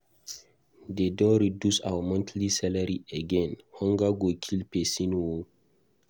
De don reduce our monthly salary again. Hunger go kill person oo.